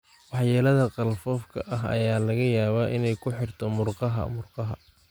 Waxyeellada qalfoofka ah ayaa laga yaabaa inay ku xigto murqaha murqaha.